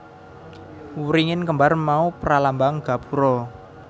Wringin kembar mau pralambang gapura